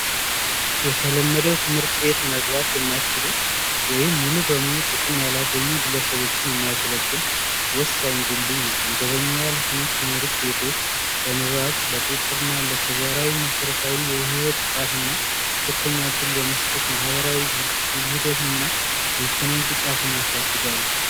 የተለመደው ትምህርት ቤት መግባት የማትችሉ ወይም ሙሉ በሙሉ ጥቅም ለማህበረሰቡ የሚያገለግል ወሳኝ የሆነ ድልድይ ነው። እነዚህ ትምህርት ቤቶች ለንባብ፣ ለቁጥጥርና መሰረታዊ የህይወት ብቃትና እድል በመስጠት ማህበራዊ ውህደትና ኢኮኖሚያዊ ብቃትን ያሳድጋሉ።